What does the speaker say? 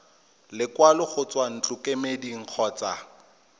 lekwalo go tswa ntlokemeding kgotsa